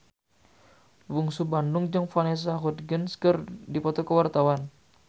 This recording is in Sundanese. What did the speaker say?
Bungsu Bandung jeung Vanessa Hudgens keur dipoto ku wartawan